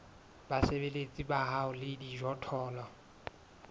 basebeletsi ba hao le dijothollo